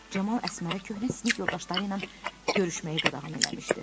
Camal Əsmərə köhnə sinif yoldaşları ilə görüşməyi qadağan eləmişdi.